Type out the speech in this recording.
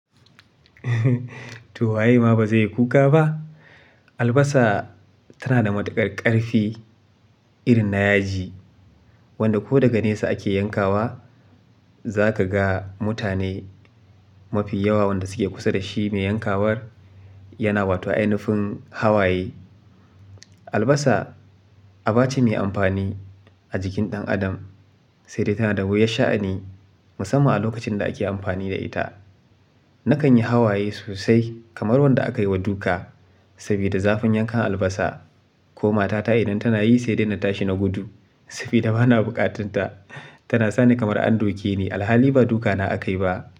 To waye ma ba zai yi kuka ba? Albasa tana da matuƙar ƙarfi irin na yaji wanda ko daga nesa ake yankawa. Za ka ga mutane mafi yawa wanda suke kusa da shi mai yankawar yana wato a ainifin hawaye. Albasa aba ce mai amfani a jikin ɗan adam, sai dai tana da wuyar sha'ani musamman a lokacin da ake amfani da ita. Nakan yi hawaye sosai kamar wanda aka yi wa duka saboda zafin yankan albasa. Ko matata idan tana yi sai dai na tashi na gudu saboda bana buƙatanta. Tana sa ni kamar an doke ni alhali ba duka na akayi ba.